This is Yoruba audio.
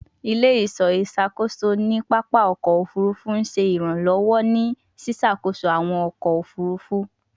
Ile-iṣọ iṣakoso ni papa ọkọ ofurufu ṣe iranlọwọ ni ṣiṣakoso awọn ọkọ ofurufu